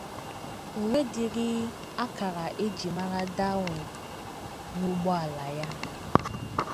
O nwedịrị akara e ji mara Darwin n’ụgbọala ya!